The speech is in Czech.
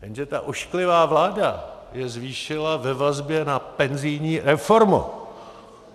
Jenže ta ošklivá vláda je zvýšila ve vazbě na penzijní reformu.